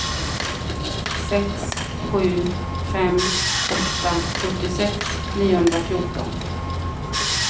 sex sju fem åtta sjuttiosex niohundrafjorton